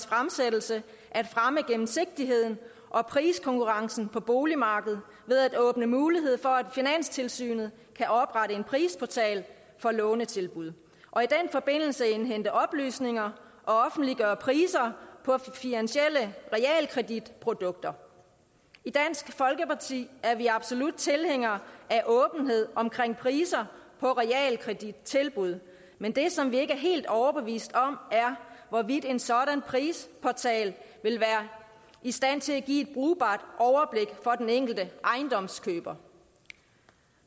fremsættelse at fremme gennemsigtigheden og priskonkurrencen på boligmarkedet ved at åbne mulighed for at finanstilsynet kan oprette en prisportal for lånetilbud og i den forbindelse indhente oplysninger og offentliggøre priser på finansielle realkreditprodukter i dansk folkeparti er vi absolut tilhængere af åbenhed om priser på realkredittilbud men det som vi ikke er helt overbevist om er hvorvidt en sådan prisportal vil være i stand til at give et brugbart overblik for den enkelte ejendomskøber